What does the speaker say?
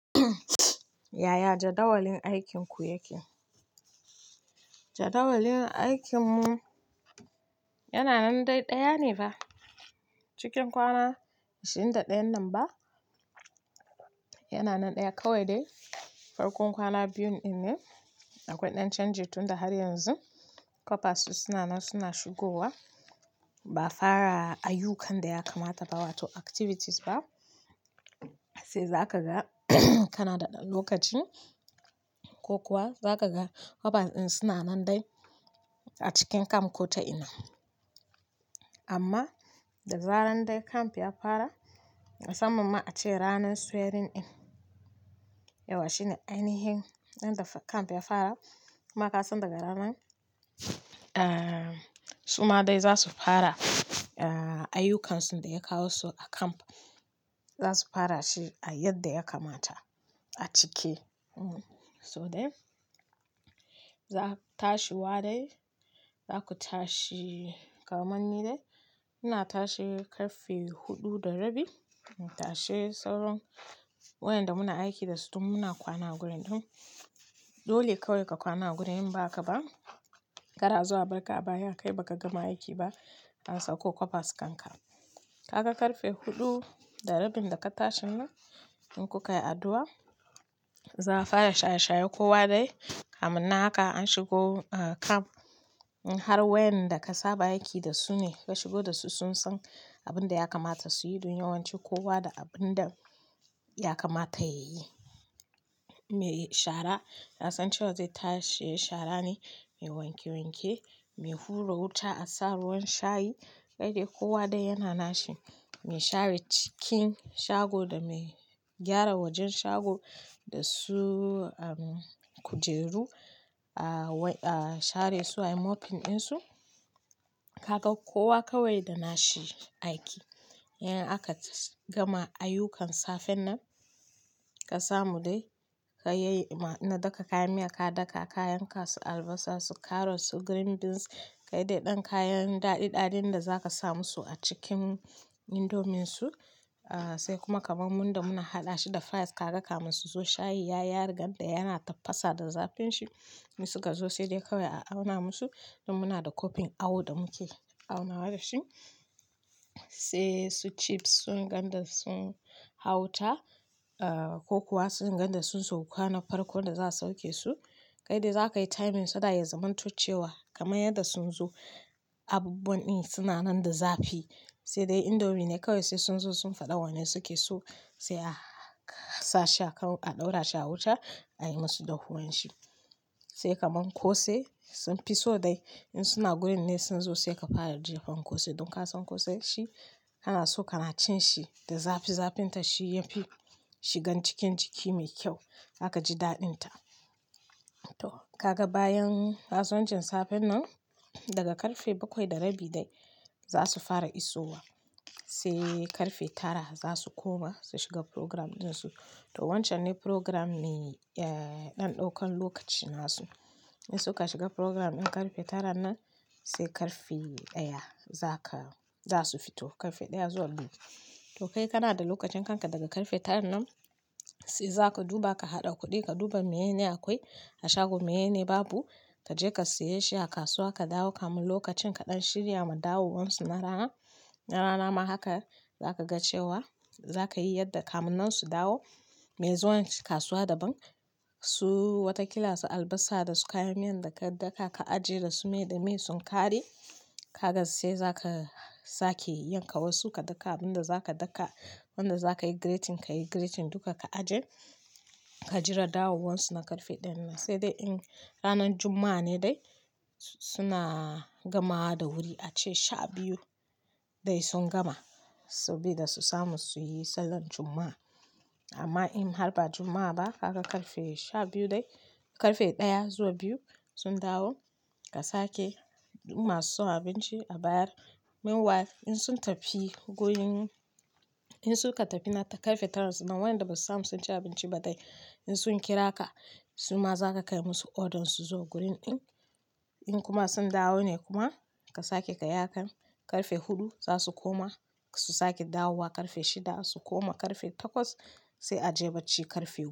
Yaya jadawalin aikin ku yake? Jadawalin aikinmu yana nan dai ɗaya ne fa. Cikin kwana ashirin da ɗayan nan ba yana nan ɗaya kawai dai. Farkon kwana biyun in ne akwai ɗan canji tun da har yanzu. Kwabas suna nan suna shigowa ba a fara ayyukan da ya kamata ba wato activities ba. Sai za ka ga Kanada ɗan lokaci ko kuwa za ka ga kwabas din suna nan dai a cikin camp ko ta ina. Amma da zaran dai camp ya fara musamman ma a ce ranan swearing in. Yawwa shi ne ainihin ran da camp ya fara. Kuma ka san daga ranan, ah, su ma dai za su fara, ah, ayyukansu da ya kawo su a camp. Za su fara shi a yadda ya kamata a cike. Hm, so dai za ku tashi wa dai, za ku tashi kaman ni dai. Muna tashi karfe huɗu da rabi. Mu tashi sauran waƴanda muna aiki da su dun muna kwana a gurin ɗin. Dole kawai ka kwana a wurin in ba haka ba, kar a zo a barka a baya kai ba ka gama aiki ba. An sako kwabas kanka. Ka ga karfe huɗu da rabin da ka tashin nan in ku ka yi addu'a, za a fara shaye-shaye kowa dai. Kamun nan haka an shigo, ah, camp. In har waƴanda ka saba aiki da su ne ka shigo da su sun san abin da ya kamata su yi dun yawanci kowa da abin da ya kamata ya yi. Me shara na san cewa zai tashi yayi shara ne, me wanke-wanke, me hura wuta a sa ruwan shayi. Kai dai kowa dai yana nashi. Me share cikin shago da me gyara wajen shago da su, um, kujeru a, a share su a yi mopping ɗin su. Ka ga kowa kawai da nashi aikin. In aka gama ayyukan safen nan ka samu dai ka ya yi ma na daka kayan miya ka daka. Kayan kasu albasa su, karots su, green beans. Kai dai ɗan kayan daɗi-ɗaɗin da za ka sa musu a cikin indominsu. Ah, sai kuma kaman mun da muna haɗa shi da fries ka ga kamun su zo shayi ya yi riga da yana tafasa da zafin shi. In su ka zo sai dai kawai a auna musu. Don muna da kofin awo da muke auna wa da shi. Sai su chips sun ganda sun hau wuta, ah, ko kuwa sun ganda sun sauka na farkon da za su sauke su. Kai dai za ka yi timing so that ya zamanto cewa kamar yadda sun zo. Abubuwan ɗin suna nan da zafi. Sai dai indomi ne kawai sai sun zo sun faɗa wane suke so. Sai a sa shi a kan a ɗaura shi a wuta ayi musu dahuwan shi. Sai kaman kose sun fi so dai in suna gurin ne sun zo sai ka fara jefa kose. Don ka san kose shi kana so kana cin shi da zafi-zafin ta shi ya fi shigan cikin jiki mai kyau. Za ka ji daɗin ta. To kaga bayan kasuwancin safen nan daga ƙarfe bakwai da rabi dai za su fara iso wa. Sai karfe tara za su koma su shiga program ɗin su. To wancan ne program me, eh, ɗan ɗaukan lokaci nasu. In suka shiga program ɗin karfe taran nan sai karfi ɗaya zaka, za su fito karfe ɗaya zuwa biyu. To kai kana da lokacin kanka daga karfe tara nan sai za ka duba ka haɗa kuɗi ka duba meye ne akwai a shago. Me ye ne babu? Ka je ka siye shi a kasuwa ka dawo kamin lokacin kaɗan shirya ma dawowansu na rana. Na rana ma haka za ka ga cewa za ka yi yadda kamunnan su dawo. Me zuwan kasuwa daban su wata kila su albasa da su kayan miyan da ka daka ka ajiye da su. Me da me sun ƙare. Kaga sai za ka sake yanka wasu ka daka abin da za ka daka. Wanda za ka yi grating kayi grating duka ka ajiye. Ka jira dawowansu na karfe ɗaya nan. Sai dai in ranan Juma'a ne dai suna gamawa da wuri a ce sha biyu dai sun gama sabida su samu su yi sallar Juma'a. Amma in har ba Juma'a ba ka ga karfe sha biyu dai karfe ɗaya zuwa biyu sun dawo ka sake masu son abinci a bayar. Meanwhile in sun tafi gurin in su ka tafi na karfe taran nan wayanda ba su samu sun ci abinci ba dai in sun kira ka su ma za ka kai musu ordern su zuwa gurin ɗin. In kuma sun dawo ne kuma ka sake ka yi hakan karfe huɗu za su koma su sake dawowa karfe shida su koma karfe takwas sai a je bacci karfe goma.